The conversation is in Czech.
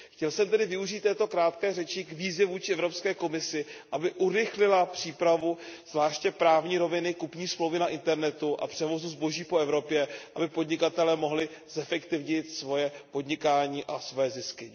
Chtěl jsem tedy využít této krátké řeči k výzvě vůči Evropské komisi, aby urychlila přípravu, zvláště právní roviny, kupní smlouvy na internetu a převozu zboží po Evropě, aby podnikatelé mohli zefektivnit svoje podnikání a své zisky.